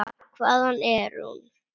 Hvaðan er hún?